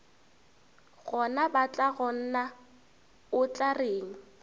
gona batlagonna o tla reng